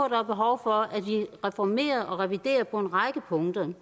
er behov for at vi reformerer og reviderer på en række punkter